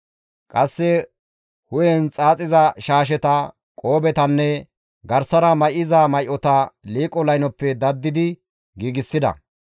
Qasse hu7en xaaxiza shaasheta, qoobetanne garsara may7iza may7ota liiqo laynoppe daddidi giigsida.